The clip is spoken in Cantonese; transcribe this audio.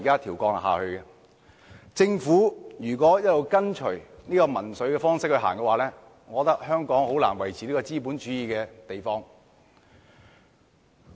如果政府一直以民粹的方式行事，香港將難以維持資本主義。